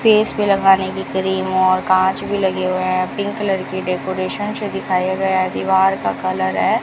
Face पर लगाने की क्रीम और कांच भी लगे हुए हैं पिंक कलर की डेकोरेशन से दिखाया गया है दीवार का कलर है।